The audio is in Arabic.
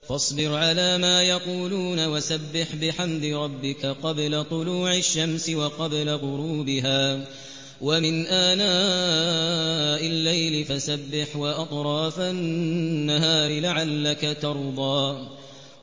فَاصْبِرْ عَلَىٰ مَا يَقُولُونَ وَسَبِّحْ بِحَمْدِ رَبِّكَ قَبْلَ طُلُوعِ الشَّمْسِ وَقَبْلَ غُرُوبِهَا ۖ وَمِنْ آنَاءِ اللَّيْلِ فَسَبِّحْ وَأَطْرَافَ النَّهَارِ لَعَلَّكَ تَرْضَىٰ